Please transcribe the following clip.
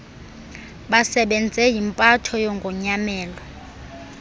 basebenze yimpatho yogonyamelo